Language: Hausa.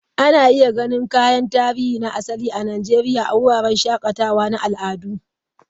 Ana iya ganin kayan tarihi na asali na Najeriya a wuraren shakatawa na al'adu.